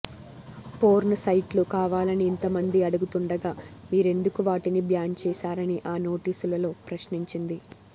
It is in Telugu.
పోర్న్ సైట్లు కావాలని ఇంతమంది అడుగుతుండగా మీరెందుకు వాటిని బ్యాన్ చేశారని ఆ నోటీసులలో ప్రశ్నించింది